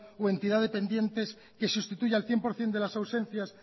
o entidad dependiente que sustituya el cien por ciento de las ausencias